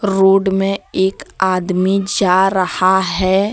Road में एक आदमी जा रहा है।